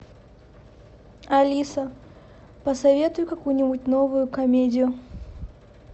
алиса посоветуй какую нибудь новую комедию